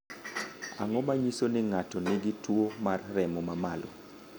Ang’o ma nyiso ni ng’ato nigi tuwo mar remo ma malo?